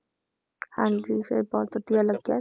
ਹਾਂਜੀ ਫਿਰ ਬਹੁਤ ਵਧੀਆ ਲੱਗਿਆ,